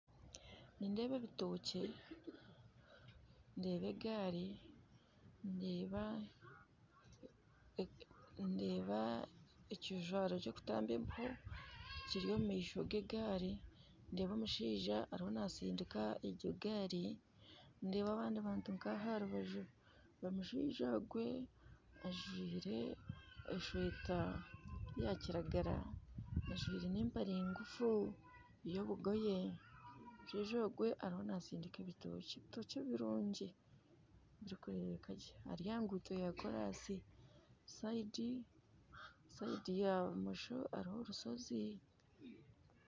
Nindeeba ebitookye, ndeeba egaari, ndeeba ekijwaro ky'okutamba embeho kiri omu maisho ga egaari, ndeeba omushaija ariho naastindika egyo gaari, ndeeba abandi bantu nk'aho aha rubaju, omushaija ogwe ajwaire eshweeta ya kiragara ajwaire n'empare ngufu y'obugoye, omushaija ogwe ariyo naastindiika ebitookye. Ebitookye birungi birikureebeka gye, ari aha nguuto ya korasi, saidi ya bumosho hariho orushozi